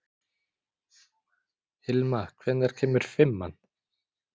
Hilma, hvenær kemur fimman?